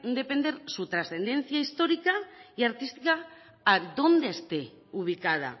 de depender su trascendencia histórica y artística a dónde esté ubicada